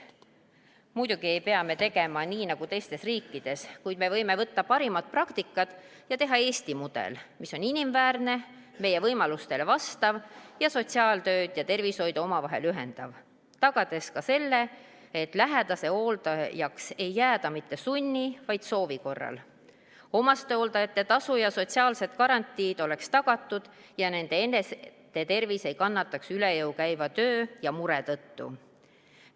Muidugi ei pea me tegema nii nagu teistes riikides, kuid me võime võtta parimad praktikad ja teha Eesti mudeli, mis on inimväärne, meie võimalustele vastav ja sotsiaaltööd ja tervishoidu ühendav, tagades ka selle, et lähedase hooldajaks ei jääda mitte sunni, vaid soovi korral, omastehooldajate tasu ja sotsiaalsed garantiid oleksid tagatud ja nende eneste tervis ei kannataks üle jõu käiva töö ja mure tõttu.